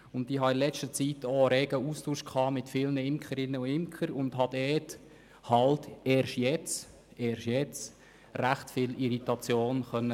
In letzter Zeit habe ich mich mit vielen Imkerinnen und Imkern rege ausgetauscht und habe – eben erst jetzt – recht viel Irritation feststellen können.